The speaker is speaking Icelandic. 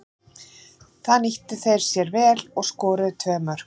Það nýttu þeir sér vel og skoruðu tvö mörk.